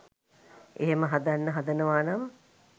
එහෙම හදන්න හදනවනම්